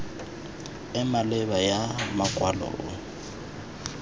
e maleba ya makwalo e